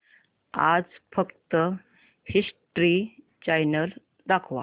आज फक्त history channel दाखव